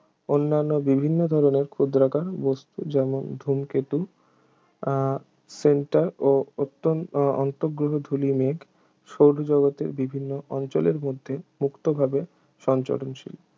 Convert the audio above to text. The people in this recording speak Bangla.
অন্নান্য বিভিন্ন ধরনের ক্ষুদ্রাকার বস্তু যেমন ধূমকেতু আহ সেন্টোর ও অত্তন অন্তঃগ্রহ ধূলি মেঘ সৌরজগতের বিভিন্ন অঞ্চলের মধ্যে মুক্তভাবে সঞ্চরণশীল